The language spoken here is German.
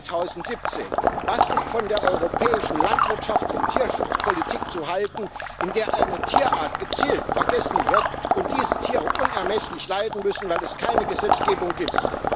2017! Was ist von der europäischen Landwirtschaft und Tierschutzpolitik zu halten, in der eine Tierart gezielt vergessen wird und diese Tiere unermesslich leiden müssen, weil es keine Gesetzgebung gibt?